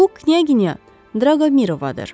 Bu Knyaginya Draqomirovadır.